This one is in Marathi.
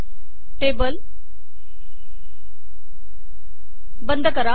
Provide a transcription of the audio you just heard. टेबल बंद करा